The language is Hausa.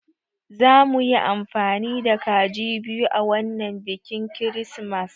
Zamuyi amfani da kaji biyu a wanan bikin kirismas